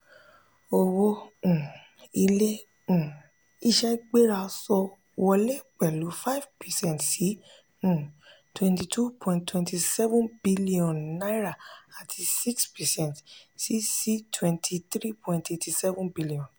owó um ilé um iṣé gbéra sọ wọlé pẹlu five percent sí um ₦ twenty two point two seven billion àti six percent sí sí ₦ twenty three point eight seven billion.